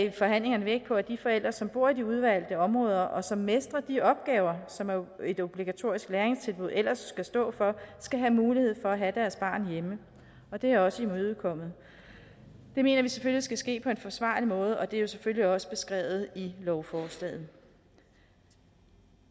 i forhandlingerne vægt på at de forældre som bor i de udvalgte områder og som mestrer de opgaver som et obligatorisk læringstilbud ellers skal stå for skal have mulighed for at have deres barn hjemme og det er også imødekommet det mener vi selvfølgelig skal ske på en forsvarlig måde og det er selvfølgelig også beskrevet i lovforslaget